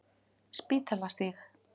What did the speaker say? Spítalastíg